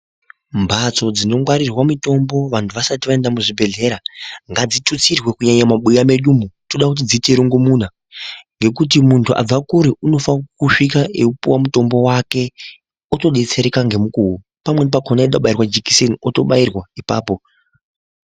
Bhatso dzinongwarirwe mutombo vantu vasati vaenda muzvigwehleya ngatitusirwe kunyanya mumabhuya medu umu tinoda dziite rongomuna nekuti muntu abva kure unofanire kukuhlika aipihwe mutombo wake otobetsereka ngemukowo pamweni pakona aida kubaira jekiseni atobairwa ipapo.